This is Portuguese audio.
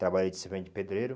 Trabalhei de servente de pedreiro.